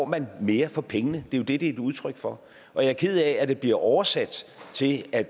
man mere for pengene det er jo det det er et udtryk for og jeg er ked af at det bliver oversat til at